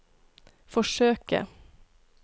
forsøke